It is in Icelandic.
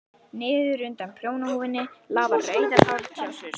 Niður undan prjónahúfunni lafa rauðar hártjásur.